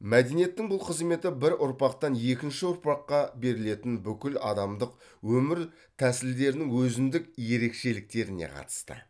мәдениеттің бұл қызметі бір ұрпақтан екінші ұрпаққа берілетін бүкіл адамдық өмір тәсілдерінің өзіндік ерекшеліктеріне қатысты